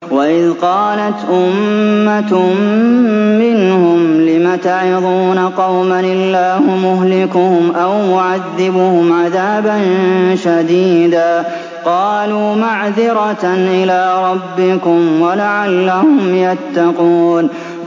وَإِذْ قَالَتْ أُمَّةٌ مِّنْهُمْ لِمَ تَعِظُونَ قَوْمًا ۙ اللَّهُ مُهْلِكُهُمْ أَوْ مُعَذِّبُهُمْ عَذَابًا شَدِيدًا ۖ قَالُوا مَعْذِرَةً إِلَىٰ رَبِّكُمْ وَلَعَلَّهُمْ يَتَّقُونَ